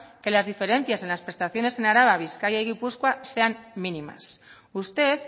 que las diferencias en las prestaciones en araba bizkaia y gipuzkoa sean mínimas usted